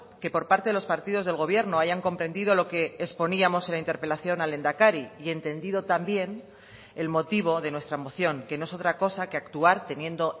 que por parte de los partidos del gobierno hayan comprendido lo que exponíamos en la interpelación al lehendakari y entendido también el motivo de nuestra moción que no es otra cosa que actuar teniendo